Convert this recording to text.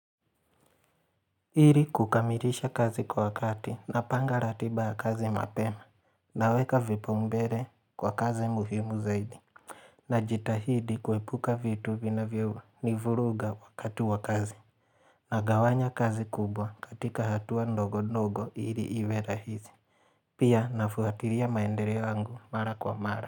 Ili kukamilisha kazi kwa wakati napanga ratiba ya kazi mapema Naweka vipaumbele kwa kazi muhimu zaidi Najitahidi kuepuka vitu vinavyo nivuruga wakati wa kazi Nagawanya kazi kubwa katika hatua ndogo ndogo ili iwe rahisi Pia nafuatilia maendeleo wangu mara kwa mara.